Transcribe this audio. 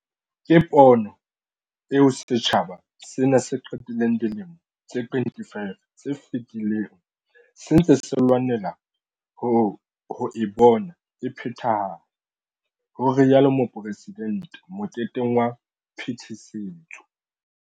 Ke pono eo setjhaba sena se qetileng dilemo tse 25 tse fetileng se ntse se lwanela ho e bona e phethahala, ho rialo Mopresidente moketeng wa phetisetso.